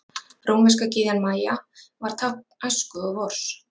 Rómverska gyðjan Maja var tákn æsku og vors.